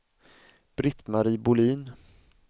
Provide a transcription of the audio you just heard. Britt-Marie Bohlin